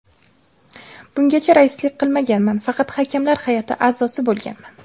Bungacha raislik qilmaganman, faqat hakamlar hay’ati a’zosi bo‘lganman.